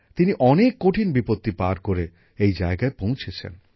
তিনি অনেক কঠিন বিপত্তি পার করে এই জায়গায় পৌঁছেছেন